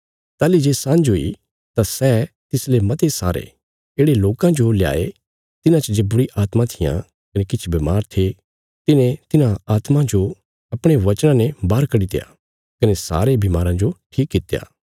ताहली जे सान्झ हुई तां सै तिसले मते सारे येढ़े लोकां जो ल्याये तिन्हां च जे बुरीआत्मां थिआं कने किछ बमार थे तिने तिन्हां आत्मां जो अपणे वचना ने बाहर कड्डित्या कने सारे बीमाराँ जो ठीक कित्या